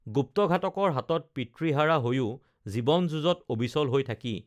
গুপ্তঘাতকৰ হাতত পিতৃহাৰা হৈও জীৱন যুঁজত অবিচল হৈ থাকি